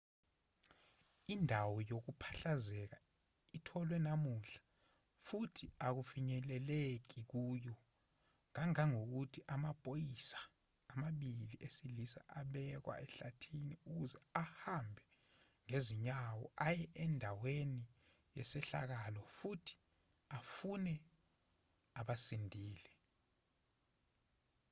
indawo yokuphahlazeka itholwe namuhla futhi akufinyeleleki kuyo kangangokuthi amaphoyisa amabili esilisa abekwa ehlathini ukuze ahambe ngezinyawo aye andaweni yesehlakalo futhi afune abasindile